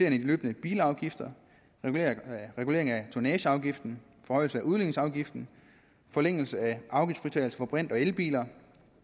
af de løbende bilafgifter regulering af tonnageafgiften forhøjelse af udligningsafgiften forlængelse af afgiftsfritagelse for brint og elbiler